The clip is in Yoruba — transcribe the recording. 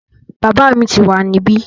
Bàbá mi tíì wá níbí